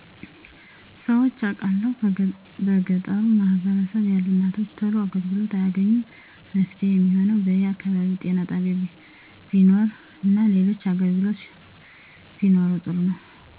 ሰምቸ አቃለሁ በገጠሩ ማህበረሰብ ያሉ እናቶች ቶሎ አገልግሎት አያገኙም መፍትሄ የሚሆነው በየ አከባቢው ጤና ጣቢያ ቢኖር እና ሌሎች አገልግሎቶች ቢኖሩ ጥሩ ነው